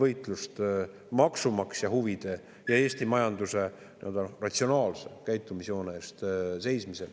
– maksumaksja huvide ja Eesti majanduse ratsionaalse käitumisjoone eest seismisel.